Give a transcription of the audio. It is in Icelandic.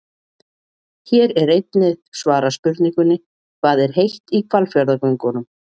Hér er einnig svarað spurningunni: Hvað er heitt í Hvalfjarðargöngunum?